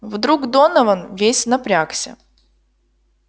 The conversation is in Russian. вдруг донован весь напрягся